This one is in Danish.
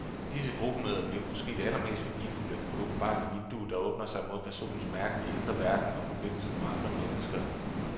Disse gruppemøder bliver måske det allermest værdifulde, åbenbarende vindue, der åbner sig mod personens mærkelige, indre verden og forbindelserne med andre mennesker.